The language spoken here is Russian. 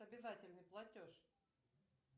обязательный платеж